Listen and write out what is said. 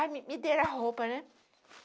Aí me me deram a roupa, né?